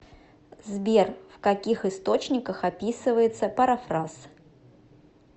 сбер в каких источниках описывается парафраз